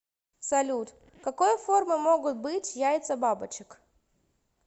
салют какой формы могут быть яйца бабочек